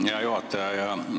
Aitäh, hea juhataja!